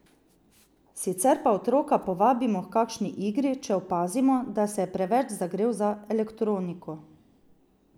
Sicer pa otroka povabimo h kakšni igri, če opazimo, da se je preveč zagrel za elektroniko.